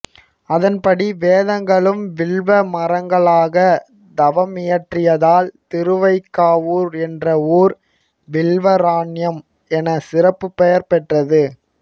அதன்படி வேதங்களும் வில்வமரங்களாகத் தவமியற்றியதால் திருவைகாவூர் என்ற ஊர் வில்வராண்யம் எனச் சிறப்புப் பெயர் பெற்றது